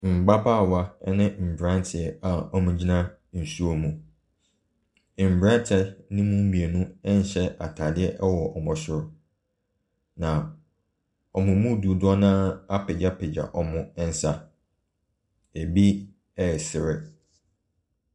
Mmabaawa ɛne mmaranteɛ a wɔgyina nsuo ho. Mmaranteɛ no mu mmienu ɛnhyɛ ataadeɛ wɔ wɔn soro na wɔn mu dodoɔ naa apegyapegya wɔn nsa. Ebi ɛresre.